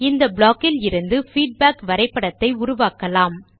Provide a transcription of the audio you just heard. இந்த ப்ளாக் கிலிருந்து பீட்பேக் வரைபடத்தை உருவாக்கலாம்